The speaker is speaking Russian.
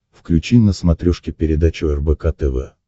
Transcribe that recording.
включи на смотрешке передачу рбк тв